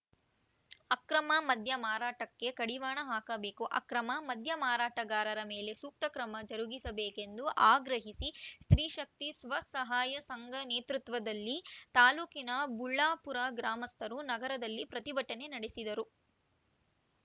ಅಕ್ರಮ ಮದ್ಯ ಮಾರಾಟಕ್ಕೆ ಕಡಿವಾಣ ಹಾಕಬೇಕು ಅಕ್ರಮ ಮದ್ಯ ಮಾರಾಟಗಾರರ ಮೇಲೆ ಸೂಕ್ತ ಕ್ರಮ ಜರುಗಿಸಬೇಕೆಂದು ಆಗ್ರಹಿಸಿ ಸ್ತ್ರೀಶಕ್ತಿ ಸ್ವಸಹಾಯ ಸಂಘ ನೇತೃತ್ವದಲ್ಲಿ ತಾಲೂಕಿನ ಬುಳ್ಳಾಪುರ ಗ್ರಾಮಸ್ಥರು ನಗರದಲ್ಲಿ ಪ್ರತಿಭಟನೆ ನಡೆಸಿದರು